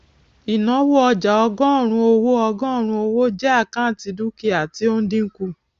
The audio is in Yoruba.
ìnáwó ọjà ọgọrùnún owó ọgọrùnún owó jẹ àkáǹtì dúkìá tí ó ń dínkù